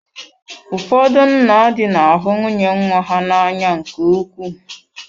Ụfọdụ nna di na ahụ nwunye nwa ha n'anya nke ukwuu.